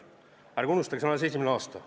Ärge unustage, see on alles esimene aasta.